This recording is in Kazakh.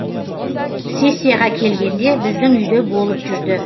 сессияға келгенде біздің үйде болып жүрді